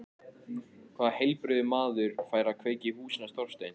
Hvaða heilbrigður maður færi að kveikja í húsinu hans Þorsteins?